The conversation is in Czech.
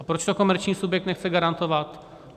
A proč to komerční subjekt nechce garantovat?